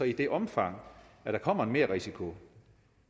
i det omfang der kommer en merrisiko